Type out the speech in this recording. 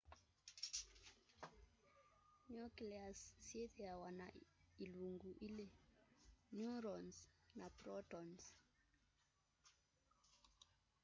nucleus yĩthĩawa na ilungu ilĩ neurons na protons